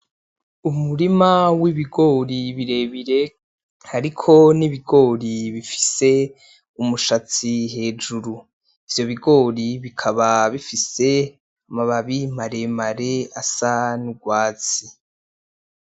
Umurima wibigori birebire hariko n'ibigori bifise umushatsi hejuri ivyo bigori bikaba bifise ama babi maremare asa n'urwatsi